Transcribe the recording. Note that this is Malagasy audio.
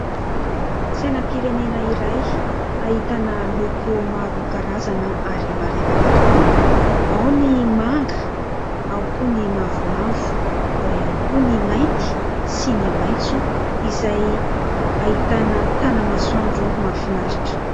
Sainam-pirenena iray ahitana loko maro karazana ary marevaka tokoa : ao ny manga, ao koa ny mavomavo, ao ihany koa ny mainty sy ny maitso izay ahitana tanamasoandro mahafinaritra.